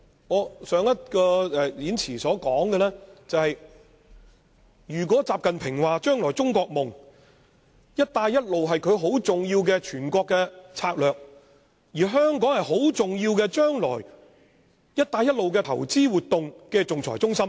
我在上次發言中提到，習近平說將來中國夢，"一帶一路"是很重要的全國策略，而香港將來是"一帶一路"很重要的投資活動仲裁中心。